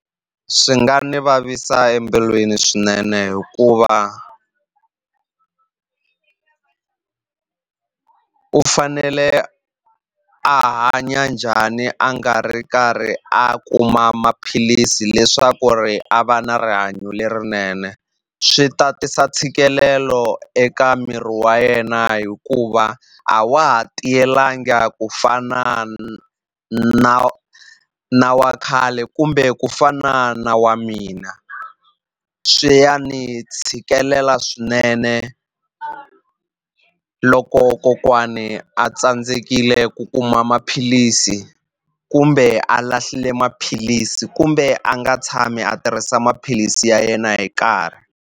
Swi nga ni vavisa embilwini swinene hikuva u fanele a hanya njhani a nga ri karhi a kuma maphilisi leswaku ri a va na rihanyo lerinene swi ta tisa ntshikelelo eka miri wa yena hikuva a wa ha tiyelanga ku fana na na wa khale kumbe ku fana na wa mina swi ya ni tshikelela swinene loko kokwani a tsandzekile ku kuma maphilisi kumbe a lahlile maphilisi kumbe a nga tshami a tirhisa maphilisi ya yena hi nkarhi.